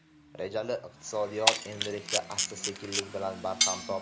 Rejali iqtisodiyot endilikda asta-sekinlik bilan barham topdi.